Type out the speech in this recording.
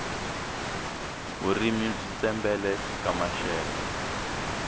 vurimi byi tshembele ka maxelo